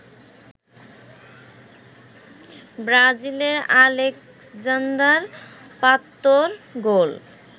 ব্রাজিলের আলেক্সান্দার পাতোর গোল